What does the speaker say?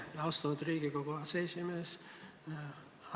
Aitäh, austatud Riigikogu aseesimees!